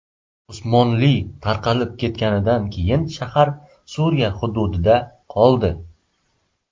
Usmonli tarqalib ketganidan keyin shahar Suriya hududida qoldi.